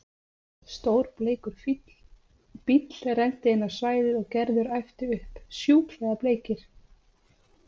Stór bleikur bíll renndi inn á svæðið og Gerður æpti upp: Sjúklega bleikir!